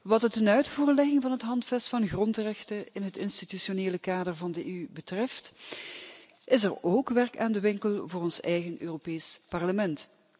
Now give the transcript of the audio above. Wat de tenuitvoerlegging van het Handvest van grondrechten in het institutionele kader van de EU betreft, is er ook werk aan de winkel voor ons eigen Europees Parlement.